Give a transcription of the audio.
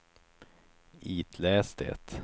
itläs det